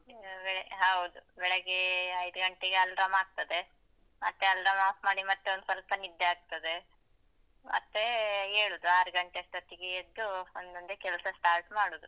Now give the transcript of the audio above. ಅದೇ ಹೌದು. ಬೆಳಗ್ಗೆ ಐದು ಗಂಟೆಗೆ alarm ಆಗ್ತದೆ, ಮತ್ತೆ alarm ಆಫ್ ಮಾಡಿ ಮತ್ತೊಂದು ಸ್ವಲ್ಪ ನಿದ್ದೆ ಆಗ್ತದೆ. ಮತ್ತೆ ಏಳುದು ಆರ್ ಗಂಟೆಯಷ್ಟೋತ್ತಿಗೆ ಎದ್ದು ಒಂದೊಂದೆ ಕೆಲ್ಸ start ಮಾಡುದು.